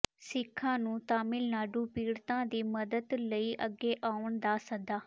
ਸਿੱਖਾਂ ਨੂੰ ਤਾਮਿਲਨਾਡੂ ਪੀਡ਼ਤਾਂ ਦੀ ਮਦਦ ਲਈ ਅੱਗੇ ਆਉਣ ਦਾ ਸੱਦਾ